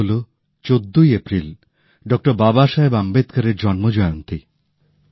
তা হল ১৪ই এপ্রিল ডক্টর বাবাসাহেব আম্বেদকর এর জন্মজয়ন্তী